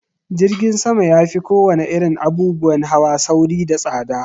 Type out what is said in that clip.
Jirgin sama ya fi ko wane irin abubuwan hawa sauri da tsaɗa.